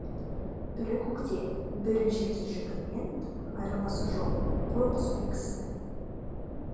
бірі көкте бірі жерде жүргенмен айырмасы жоқ қой құс пен кісінің